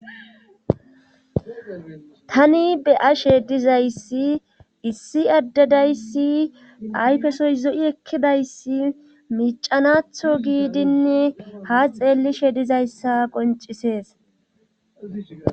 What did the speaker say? tani be'ashe dizayssi issi addedayssi ayfesoy zo7i ekkidayssi miicanatho giidinn ha xeellishe dizayssa qoncisees